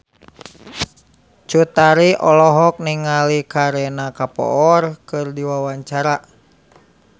Cut Tari olohok ningali Kareena Kapoor keur diwawancara